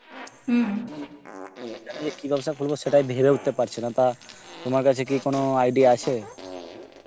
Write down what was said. সেখানে যে কি ব্যবসা করবো সেটাই ভেবে উঠতে পারছি না তা তোমার কাছে কি কোনো idea আছে ?